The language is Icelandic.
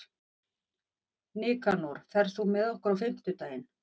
Nikanor, ferð þú með okkur á fimmtudaginn?